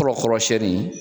Fɔrɔ kɔrɔsiyɛnni